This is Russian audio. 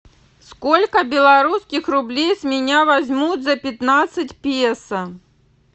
сколько белорусских рублей с меня возьмут за пятнадцать песо